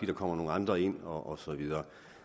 der kommer nogle andre ind og så videre